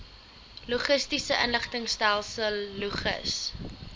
logistiese inligtingstelsel logis